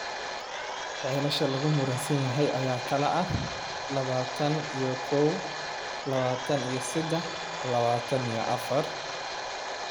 Ceelasha lagu muransan yahay ayaa kala ah L-labatan iyo kow, L-labatan iyo sedax iyo L-labatan iyo afar.